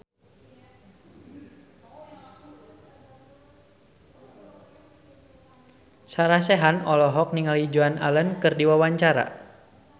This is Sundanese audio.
Sarah Sechan olohok ningali Joan Allen keur diwawancara